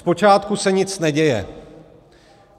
Zpočátku se nic neděje.